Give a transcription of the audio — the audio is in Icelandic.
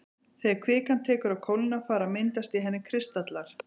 Þegar kvikan tekur að kólna fara að myndast í henni kristallar.